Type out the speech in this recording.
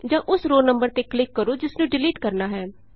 ਜਾਂ ਉਸ row number ਤੇ ਕਲਿਕ ਕਰੋ ਜਿਸ ਨੂੰ ਡਿਲੀਟ ਕਰਨਾ ਹੈ